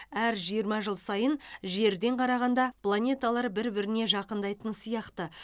әр жиырма жыл сайын жерден қарағанда планеталар бір біріне жақындайтын сияқты